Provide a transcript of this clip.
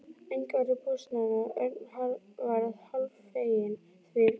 Enginn var í bústaðnum og Örn varð hálffeginn því.